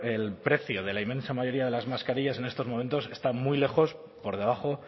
el precio de la inmensa mayoría de las mascarillas en estos momentos está muy lejos por debajo